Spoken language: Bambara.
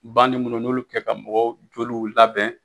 Bandi munnu n'olu bi kɛ ka mɔgɔw joliw labɛn